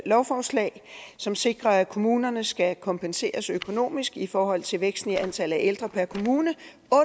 lovforslag som sikrer at kommunerne skal kompenseres økonomisk i forhold til væksten i antallet af ældre per kommune